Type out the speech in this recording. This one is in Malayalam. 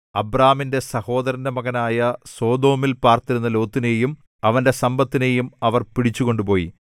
അബ്രാമിന്റെ സഹോദരന്റെ മകനായ സൊദോമിൽ പാർത്തിരുന്ന ലോത്തിനെയും അവന്റെ സമ്പത്തിനെയും അവർ പിടിച്ചുകൊണ്ടുപോയി